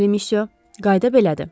Bəli, myusyo, qayda belədir.